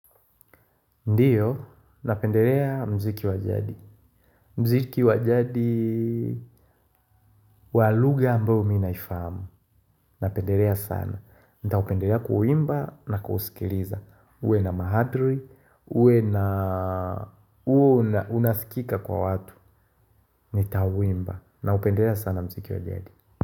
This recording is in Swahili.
Ndiyo, napendelea mziki wajadi. Mziki wajadi walugha ambayo mina ifahamu. Napenderea sana. Nitaupenderea kuuimba na kuusikiliza. Uwe na mahadri. Uwe na uu unasikika kwa watu. Nitauimba naupenderea sana mziki wajadi.